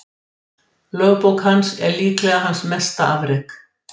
Lögbók hans er líklega hans mesta afrek.